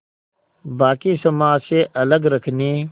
बाक़ी समाज से अलग रखने